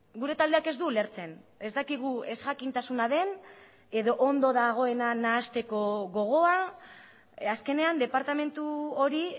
gure taldeak ez du ulertzen ez dakigu ezjakintasuna den edo ondo dagoena nahasteko gogoa azkenean departamentu hori